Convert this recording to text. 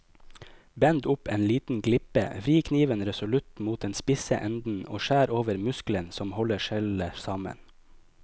Bend opp en liten glipe, vri kniven resolutt mot den spisse enden og skjær over muskelen som holder skjellet sammen.